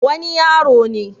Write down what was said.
wani yaro ne